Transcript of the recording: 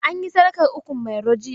An yi sadakar ukun mairo jiya.